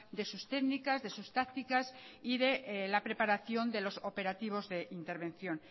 de sus técnicas de sus tácticas y de la preparación de los operativos de intervención